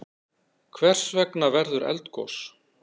Hvers vegna verður eldgos?